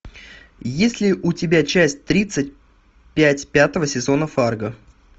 есть ли у тебя часть тридцать пять пятого сезона фарго